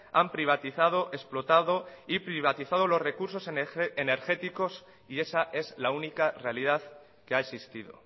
han privatizado explotado y privatizado los recursos energéticos y esa es la única realidad que ha existido